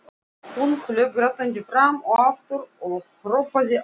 Hún hljóp grátandi fram og aftur og hrópaði á